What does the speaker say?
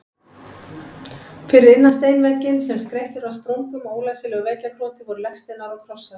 Fyrir innan steinvegginn, sem skreyttur var sprungum og ólæsilegu veggjakroti, voru legsteinar og krossar.